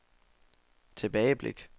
tilbageblik